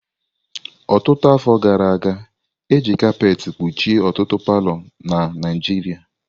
Ọtụtụ afọ gara aga, e ji kapet kpuchie ọtụtụ palọ na Naijiria.